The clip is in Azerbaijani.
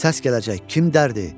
Səs gələcək, kim dərdi?